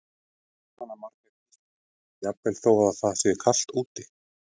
Jóhanna Margrét Gísladóttir: Jafnvel þó það sé kalt úti?